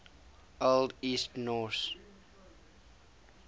old east norse